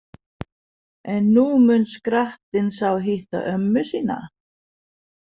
En nú mun skrattinn sá hitta ömmu sína